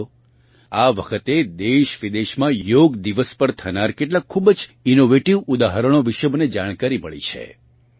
સાથીઓ આ વખતે દેશવિદેશમાં યોગ દિવસ પર થનાર કેટલાક ખૂબ જ ઇનોવેટીવ ઉદાહરણો વિશે મને જાણકારી મળી છે